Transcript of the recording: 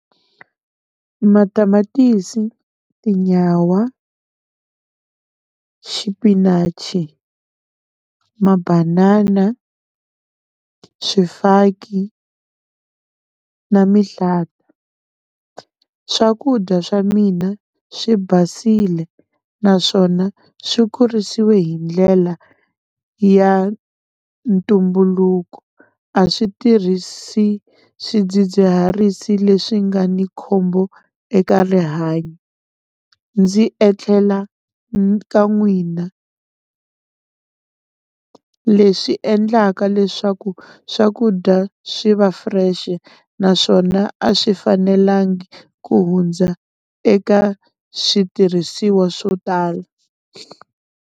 Matamatisi, tinyawa, xipinachi, ma-banana, swifaki na mihlata, swakudya swa mina swi basile naswona swi kurisiwe hi ndlela ya ntumbuluko, a swi tirhisi swidzidziharisi leswi nga ni khombo eka rihanyo, ndzi e tlhela ka n'wina, leswi endlaka leswaku swakudya swi va fresh-e naswona a swi fanelangi ku hundza eka switirhisiwa swo tala.